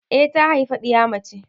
Eh ta haifa ɗiya mace.